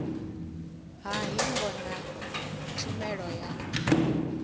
ha hingo na tshumelo ya